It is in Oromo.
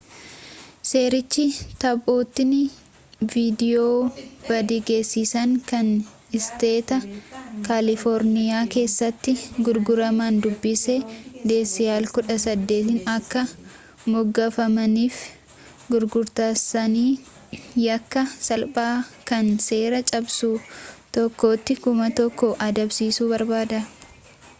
seerichi taphootni viidiyoo badii geessisan kan isteeta kaalifoorniyaa keessatti gurguraman dubbisa decal 18"n akka moggaafamanii fi gurgaartaasaanii yakka salphaa kan seera-cabsuu tokkotti $ 1000 adabsiisuu barbaada